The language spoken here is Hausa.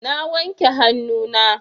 Na wanke hannuna.